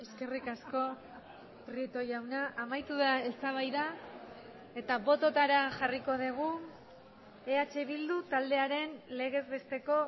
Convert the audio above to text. eskerrik asko prieto jauna amaitu da eztabaida eta bototara jarriko dugu eh bildu taldearen legez besteko